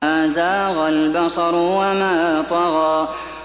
مَا زَاغَ الْبَصَرُ وَمَا طَغَىٰ